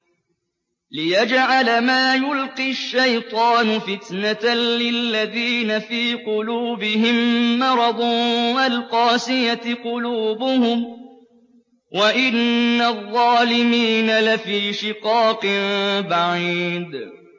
لِّيَجْعَلَ مَا يُلْقِي الشَّيْطَانُ فِتْنَةً لِّلَّذِينَ فِي قُلُوبِهِم مَّرَضٌ وَالْقَاسِيَةِ قُلُوبُهُمْ ۗ وَإِنَّ الظَّالِمِينَ لَفِي شِقَاقٍ بَعِيدٍ